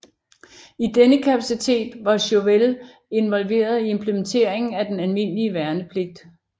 I denne kapacitet var Chauvel involveret i implementeringen af den almindelige værnepligt